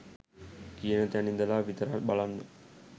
කියන තැන් ඉදලා විතරක් බලන්න.